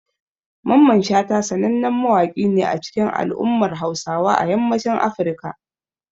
Mamman Shata sanannen mawaƙi ne a cikin al'ummar Hausawa na yammacin Africa.